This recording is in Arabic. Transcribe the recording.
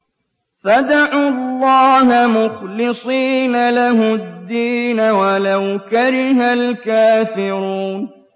فَادْعُوا اللَّهَ مُخْلِصِينَ لَهُ الدِّينَ وَلَوْ كَرِهَ الْكَافِرُونَ